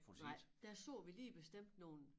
Nej der så vi lige bestemt nogle